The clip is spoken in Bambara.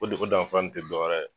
O dugu in danfara te dɔwɛrɛ ye